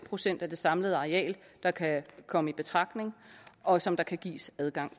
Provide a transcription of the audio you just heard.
procent af det samlede areal der kan komme i betragtning og som der kan gives adgang